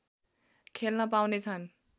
खेल्न पाउनेछन्